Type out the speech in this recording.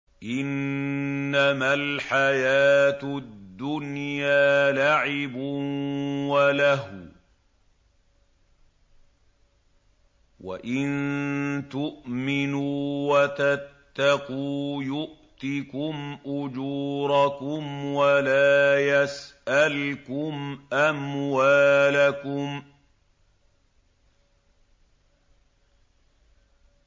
إِنَّمَا الْحَيَاةُ الدُّنْيَا لَعِبٌ وَلَهْوٌ ۚ وَإِن تُؤْمِنُوا وَتَتَّقُوا يُؤْتِكُمْ أُجُورَكُمْ وَلَا يَسْأَلْكُمْ أَمْوَالَكُمْ